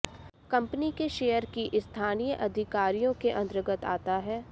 company के share की स्थानीय अधिकारियों के अंतर्गत आता है